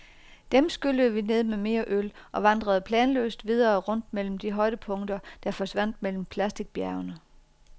Dem skyllede vi ned med mere øl og vandrede planløst videre rundt mellem de højdepunkter, der forsvandt mellem plasticbjergene.